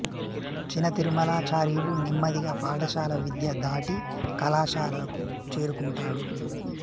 చిన తిరుమలాచార్యులు నెమ్మదిగా పాఠశాల విద్య దాటి కళాశాలకు చేరుకుంటాడు